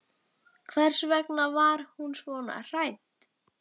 Hvers vegna var hún svona hrædd?